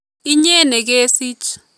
Inye nekesich